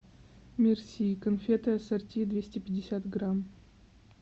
мерси конфеты ассорти двести пятьдесят грамм